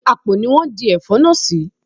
Àpò ni wón di Ẹ̀fọ́ náà sì.